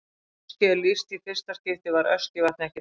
Þegar Öskju er lýst í fyrsta skipti var Öskjuvatn ekki myndað.